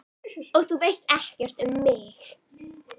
Og þú veist ekkert um mig